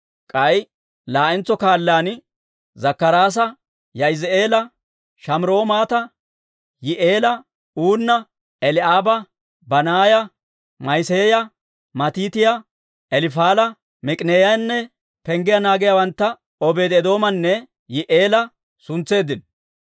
K'ay laa'entso kaalaan Zakkaraasa, Yaa'izi'eela, Shamiraamoota, Yihi'eela, Uunna, Eli'aaba, Banaaya, Ma'iseeya, Matiitiyaa, Elifaala, Miik'ineeyanne penggiyaa naagiyaawantta Obeedi-Eedoomanne Yi'i'eela suntseeddino.